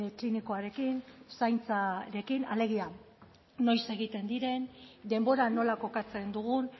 klinikoarekin zaintzarekin alegia noiz egiten diren denbora nola kokatzen dugun